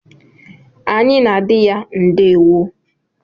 Anyị na adị ya ndewo.